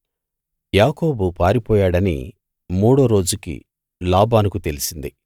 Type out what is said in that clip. యాకోబు పారిపోయాడని మూడో రోజుకి లాబానుకు తెలిసింది